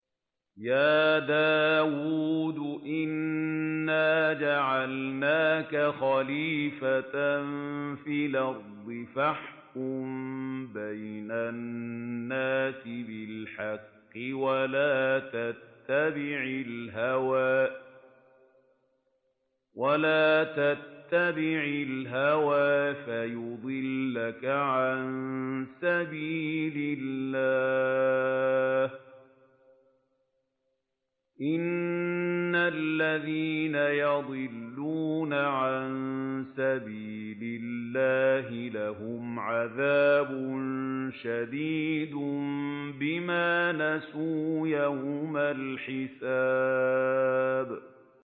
يَا دَاوُودُ إِنَّا جَعَلْنَاكَ خَلِيفَةً فِي الْأَرْضِ فَاحْكُم بَيْنَ النَّاسِ بِالْحَقِّ وَلَا تَتَّبِعِ الْهَوَىٰ فَيُضِلَّكَ عَن سَبِيلِ اللَّهِ ۚ إِنَّ الَّذِينَ يَضِلُّونَ عَن سَبِيلِ اللَّهِ لَهُمْ عَذَابٌ شَدِيدٌ بِمَا نَسُوا يَوْمَ الْحِسَابِ